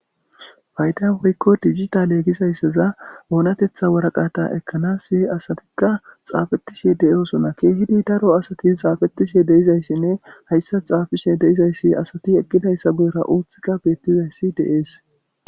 Fayda woykko digitale gizayssaza oonatetha waraqata ekanasi asatikka xafetishe de'osonna kehidi daro asati xafetishe de'izaysinne hayssa xaafishe de'izayssi asati eqidayssa goora oothikka beettizayssi de'es.